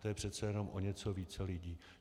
To je přece jenom o něco více lidí.